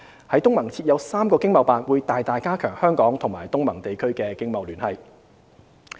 在東盟設有3個經貿辦會大大加強香港與東盟地區的經貿聯繫。